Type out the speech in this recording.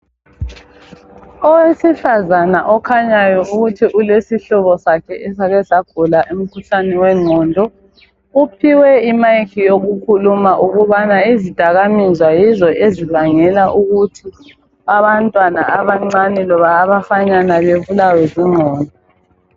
Owesifazana okhanyayo ukuthi ulesihlobo sakhe esake sagula umkhuhlane wengqondo uphiwe imayikhi yokukhuluma ukubana izidakamizwa yizo ezibangela ukuthi abantwana abancane loba abafanyana bebulawe zingqondo.